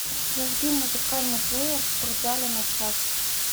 зажги музыкальный плеер в спортзале на час